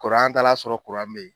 an t'a la sɔrɔ be yen